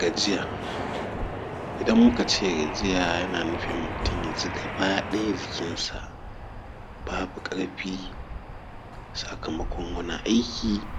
Gajiya, idan muka ce gajiya yana nufin mutum ya ji gaba ɗaya jikinsa babu ƙarfi sakamakon wani aiki